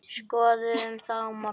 Skoðum það á morgun.